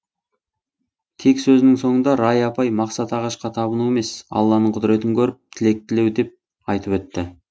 тек сөзінің соңында рая апай мақсат ағашқа табыну емес алланың құдіретін көріп тілек тілеу деп айтып өтті